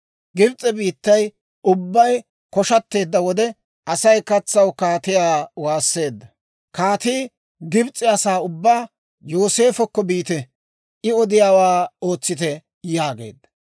Gibs'e biittay ubbay koshateedda wode, Asay katsaw kaatiyaa waasseedda. Kaatii Gibs'e asaa ubbaa, «Yooseefokko biite; I odiyaawaa ootsite» yaageedda.